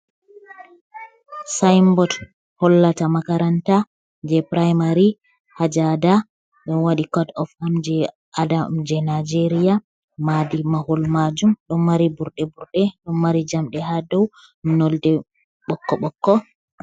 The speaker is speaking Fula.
Saayinbot hollata makaranta jey puraamari, haa jaada, ɗo waɗi kot of am jey adam, jey najeeriya, maadi mahol maajum ɗo mari burɗe burɗe, ɗo mari jamɗe haa dow nolde ɓokko ɓokko.